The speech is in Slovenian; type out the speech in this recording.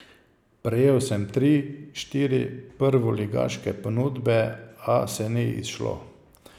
Prejel sem tri, štiri prvoligaške ponudbe, a se ni izšlo.